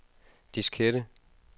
diskette